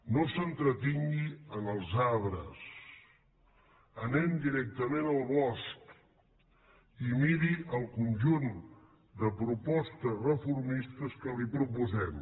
no s’entretingui en els arbres anem directament al bosc i miri el conjunt de propostes reformistes que li proposem